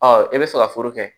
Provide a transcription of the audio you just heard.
Ɔ i bɛ fɛ ka foro kɛ